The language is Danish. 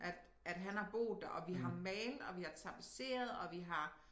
At at han har boet der og vi har malet og vi har tapetseret og vi har